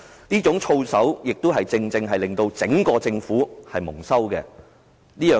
這種操守亦令整個政府蒙羞。